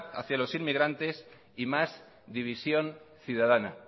hacía los emigrantes y más división ciudadana